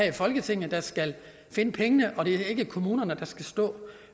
i folketinget der skal finde pengene og at det ikke er kommunerne der skal stå